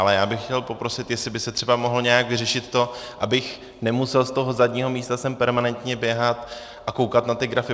Ale já bych chtěl poprosit, jestli by se třeba mohlo nějak vyřešit to, abych nemusel z toho zadního místa sem permanentně běhat a koukat na ty grafy.